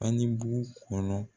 A ni bu kɔnɔ